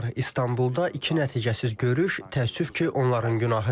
İstanbulda iki nəticəsiz görüş təəssüf ki, onların günahıdır.